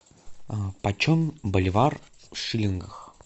почем боливар в шиллингах